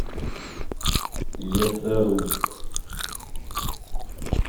лесоруб